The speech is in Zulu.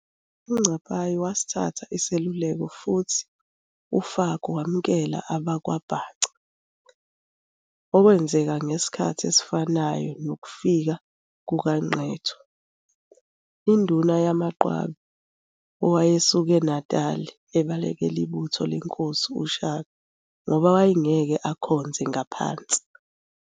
UNcapayi wasithatha iseluleko futhi uFaku wamukela abakwaBhaca, okwenzeka ngesikhathi esifanayo nokufika kukaNqetho, iNduna yamaQwabes owayesuke eNatal ebalekela ibutho leNkosi uTshaka ngoba wayengeke akhonze ngaphansi.